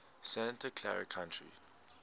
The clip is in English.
santa clara county